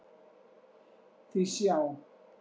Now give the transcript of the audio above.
Því sjá!